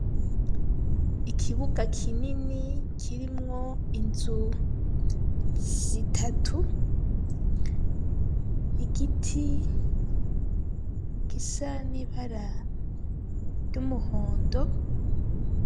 Ikibuga kinini kirimwo inzu zitatu igiti gisa n'ibara ry'umuhondo.